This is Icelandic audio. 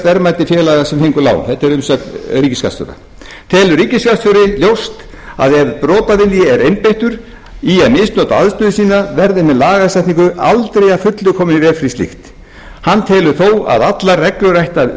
verðmæti félaga sem fengu lán þetta er umsögn ríkisskattstjóra telur ríkisskattstjóri ljóst að ef brotavilji er einbeittur í að misnota aðstöðu sína verði með lagasetningu aldrei að fullu komið í veg fyrir slíkt hann telur þó að allar reglur ættu